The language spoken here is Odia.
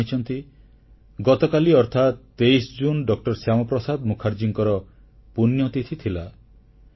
ଆପଣ ଜାଣିଛନ୍ତି ଗତକାଲି ଅର୍ଥାତ୍ 23 ଜୁନ୍ ଡ ଶ୍ୟାମାପ୍ରସାଦ ମୁଖାର୍ଜୀଙ୍କର ପୁଣ୍ୟତିଥି ଥିଲା